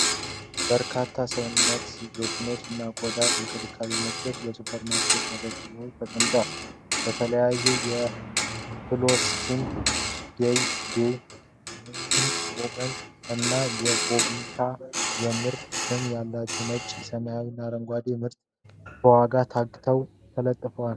በርካታ የሰውነት ሎሽን እና የቆዳ እንክብካቤ ምርቶች በሱፐርማርኬት መደርደሪያ ላይ ተቀምጠዋል። በተለይም የፍሎስኪን (Floskin)፣ ዴይ ዴይ ዉመን (Dayday Women) እና አቮቪታ (Avovita) የምርት ስም ያላቸው ነጭ፣ ሰማያዊ እና አረንጓዴ የሆኑ ምርቶች በዋጋ ታግ ተለጥፎባቸዋል።